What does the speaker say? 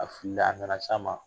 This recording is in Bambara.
A filila a nana se a ma